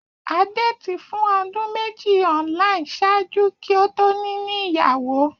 A dated fun odun meji online ṣaaju ki o to nini iyawo.